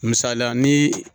Misalila ni